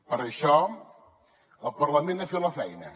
per això el parlament ha fet la feina